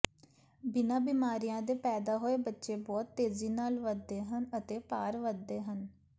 ਬਿਨਾਂ ਬਿਮਾਰੀਆਂ ਦੇ ਪੈਦਾ ਹੋਏ ਬੱਚੇ ਬਹੁਤ ਤੇਜ਼ੀ ਨਾਲ ਵਧਦੇ ਹਨ ਅਤੇ ਭਾਰ ਵਧਦੇ ਹਨ